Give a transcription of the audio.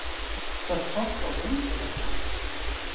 Það sást á göngulagi hans.